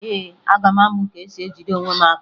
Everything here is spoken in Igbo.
Ee, aga m amụ ka esi ejide onwe m aka